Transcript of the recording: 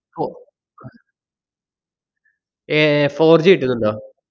ഫൊ~ ഏർ fourG കിട്ടുന്നുണ്ടോ?